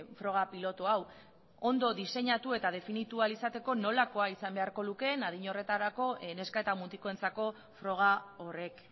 froga pilotu hau ondo diseinatu eta definitu ahal izateko nolakoa izan beharko lukeen adin horretarako neska eta mutikoentzako froga horrek